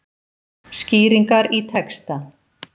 Skýringar í texta.